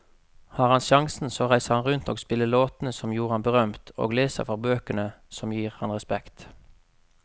Har han sjansen så reiser han rundt og spiller låtene som gjorde ham berømt, og leser fra bøkene som gir ham respekt.